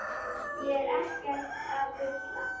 Ég er ekkert að bulla.